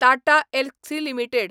Tata Elxsi limited